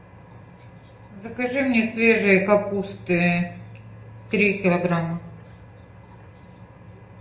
закажи мне свежей капусты три килограмма